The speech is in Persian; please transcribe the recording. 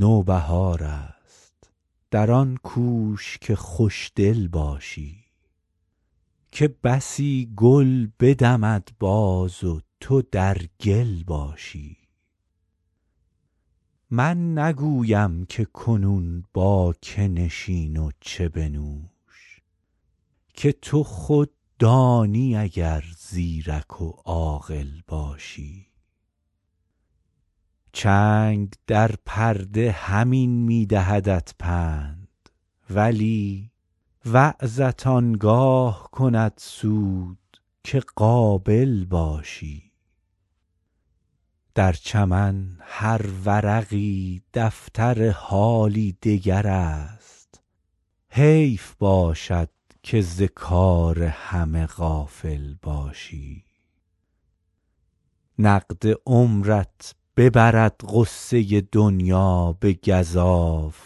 نوبهار است در آن کوش که خوش دل باشی که بسی گل بدمد باز و تو در گل باشی من نگویم که کنون با که نشین و چه بنوش که تو خود دانی اگر زیرک و عاقل باشی چنگ در پرده همین می دهدت پند ولی وعظت آن گاه کند سود که قابل باشی در چمن هر ورقی دفتر حالی دگر است حیف باشد که ز کار همه غافل باشی نقد عمرت ببرد غصه دنیا به گزاف